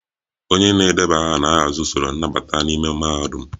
onye na-edeba aha na-ahazi usoro nnabata n'ime mahadum